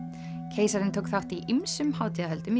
keisarinn tók þátt ýmsum hátíðahöldum í